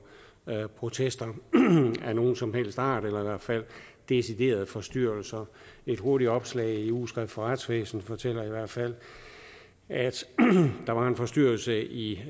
protester af nogen som helst art eller i hvert fald deciderede forstyrrelser et hurtigt opslag i ugeskrift for retsvæsen fortæller i hvert fald at der var en forstyrrelse i